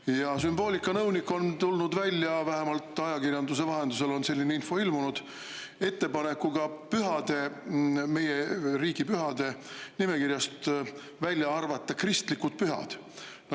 Ja sümboolikanõunik on tulnud välja – vähemalt ajakirjanduse vahendusel on selline info ilmunud – ettepanekuga pühade, meie riigipühade nimekirjast välja arvata kristlikud pühad.